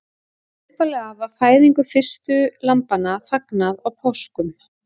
Upphaflega var fæðingu fyrstu lambanna fagnað á páskum.